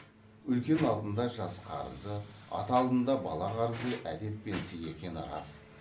үлкен алдында жас қарызы ата алдында бала қарызы әдеп пен сый екені рас